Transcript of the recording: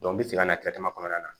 bi segin ka na kɔnɔna na